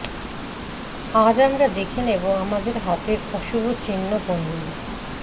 আজ আমরা দেখে নেব আমাদের হাতের অশুভ চিহ্ন কোনগুলি